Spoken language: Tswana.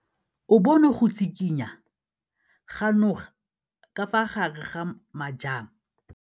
O bone go tshikinya ga noga ka fa gare ga majang.